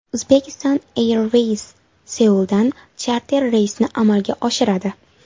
Uzbekistan Airways Seuldan charter reysni amalga oshiradi.